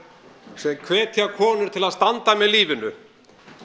sem hvetja konur til að standa með lífinu